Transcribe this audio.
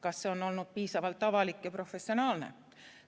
Kas see on olnud piisavalt avalik ja professionaalne?